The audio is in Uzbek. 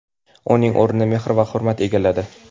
uning o‘rnini mehr va hurmat egalladi.